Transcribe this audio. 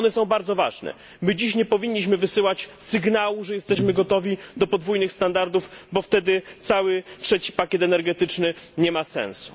Są one bardzo ważne. Nie powinniśmy dziś wysyłać sygnału, że jesteśmy gotowi do podwójnych standardów, bo wtedy cały trzeci pakiet energetyczny nie ma sensu.